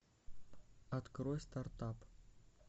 открой стартап